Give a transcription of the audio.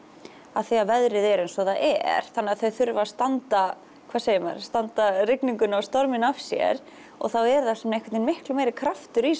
af því að veðrið er eins og það er þannig að þau þurfa að standa hvað segir maður standa rigninguna og storminn af sér og þá er einhvern veginn miklu meiri kraftur í